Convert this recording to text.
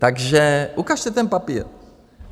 Takže ukažte ten papír.